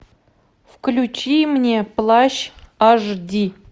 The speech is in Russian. включи мне плащ аш ди